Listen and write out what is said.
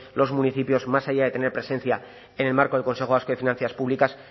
los municipios más allá de tener presencia en el marco del consejo vasco de finanzas públicas